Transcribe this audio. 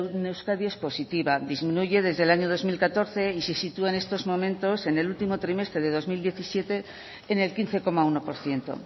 en euskadi es positiva disminuye desde el año dos mil catorce y si sitúa en estos momentos en el última trimestres del dos mil diecisiete en el quince coma uno por ciento